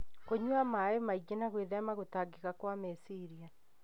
kũnyua maĩ maingĩ, na gwĩthema gũtangĩka kwa meciria.